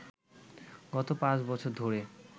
গত পাঁচ বছর ধরে